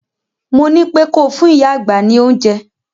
Mo ní pé ko fún ìyá àgbà ní oúnjẹ!